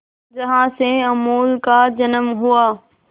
जहां से अमूल का जन्म हुआ